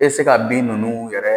I bɛ se ka bin ninnu yɛrɛ